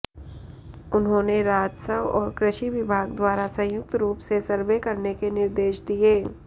उन्होंने राजस्व और कृषि विभाग द्वारा संयुक्त रूप से सर्वे करने के निर्देश दिये